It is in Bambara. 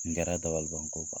Nin kɛra dabaliban ko ba.